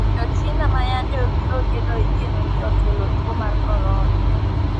Jo china ma yande obiro gedo igeno ni okelo tuo mar corona